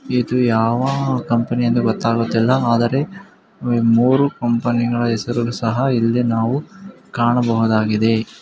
ಇದು ಯಾವ ಕಂಪನಿ ಅಂತ ಗೊತ್ತಾಗ್ತಿಲ್ಲ ಆದರೆ ಮೂರು ಕಂಪನಿಗಳ ಹೆಸರು ಆದರೂ ಸಹ ನಾವು ಇಲ್ಲಿ ಕಾಣಬಹುದಾಗಿದೆ.